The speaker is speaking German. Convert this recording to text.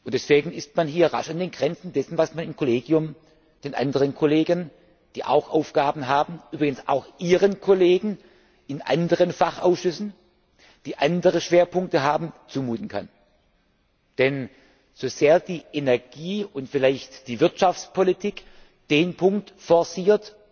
Deswegen ist man hier rasch an den Grenzen dessen, was man im Kollegium den anderen Kollegen, die auch Aufgaben haben übrigens auch Ihren Kollegen in anderen Fachausschüssen, die andere Schwerpunkte haben zumuten kann. Denn so sehr die Energie und vielleicht die Wirtschaftspolitik den Punkt forciert,